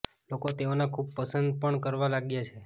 લોકો તેઓને ખુબ પસંદ પણ કરવા લાગ્યા છે